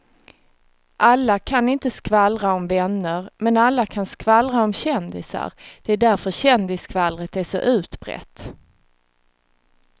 Alla kan inte skvallra om vänner men alla kan skvallra om kändisar, det är därför kändisskvallret är så utbrett.